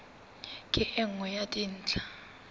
ke e nngwe ya dintlha